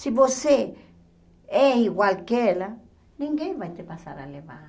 Se você é igual que ela, ninguém vai te passar a levar.